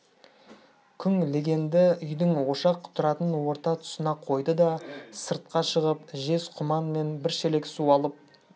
күң легенді үйдің ошақ тұратын орта тұсына қойды да сыртқа шығып жез құман мен бір шелек су алып